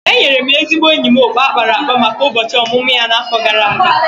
Enyere m ezigbo enyi m okpu a kpara akpa maka ụbọchị ọmụmụ ya n’afọ gara aga.